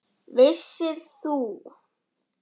Vissir þú?